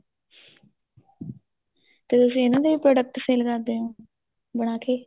ਤੇ ਫੇਰ product sale ਕਰਦੇ ਓ ਬਣਾ ਕੇ